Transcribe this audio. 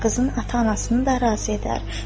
Qızın ata-anasını da razı edər.